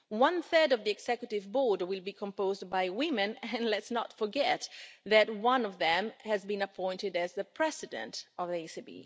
One third of the Executive Board will be composed by women, and let us not forget that one of them has been appointed as the President of the ECB.